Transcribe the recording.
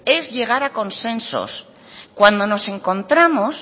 es llegar a consensos cuando nos encontramos